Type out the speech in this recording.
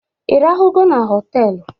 I rahụnugo na hotel?